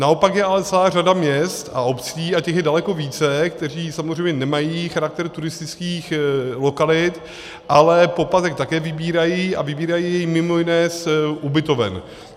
Naopak je ale celá řada měst a obcí, a těch je daleko více, které samozřejmě nemají charakter turistických lokalit, ale poplatek také vybírají, a vybírají jej mimo jiné z ubytoven.